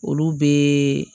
Olu bɛ